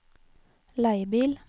leiebil